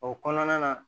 O kɔnɔna na